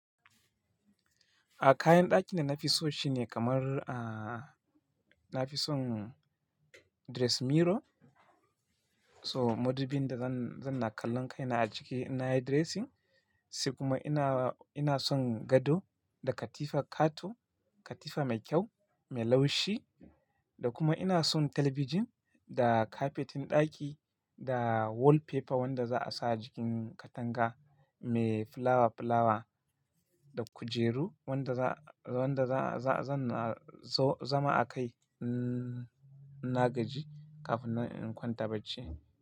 A kayan ɗaki da na fi so shine kamar, ah, na fi son dressing mirror. So madubin da zan, zan na kallon kaina a ciki inna yi dressing. Sai kuma ina, ina son gado da katifa kato, katifa mai kyau, mai laushi. Da kuma ina son talabijin da kafetin ɗaki da wallpaper wanda za a sa jikin katanga mai filawa filawa da kujeru wanda za, wanda za, za, zan zo zama a kai, mm, ina gaji kafin in kwanta bacci.